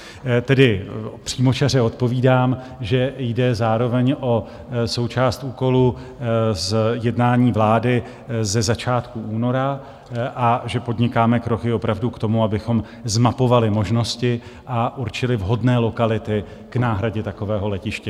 Tedy přímočaře odpovídám, že jde zároveň o součást úkolu z jednání vlády ze začátku února a že podnikáme kroky opravdu k tomu, abychom zmapovali možnosti a určili vhodné lokality k náhradě takového letiště.